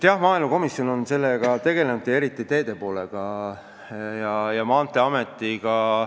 Jah, maaelukomisjon on sellega tegelenud ja eriti teede valdkonnaga.